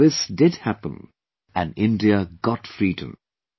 But this did happen and India got freedom